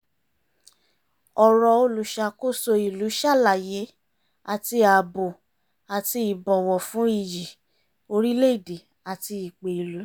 ọ̀rọ̀ olùṣàkóso ìlú ṣàlàyé àti ààbò àti ìbọ̀wọ̀ fún iyì orílẹ̀ èdè àti ìpè ìlú